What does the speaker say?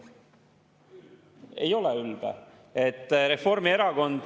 Ei ole ülbe.